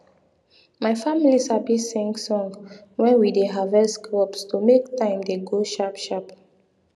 my family sabi sing song when we dey harvest crops to make time dey go sharp sharp